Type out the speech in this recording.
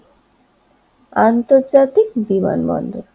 আন্তর্জাতিক বিমানবন্দর